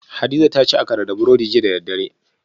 Hadiza ta ci Akara da burodi jiya da daddare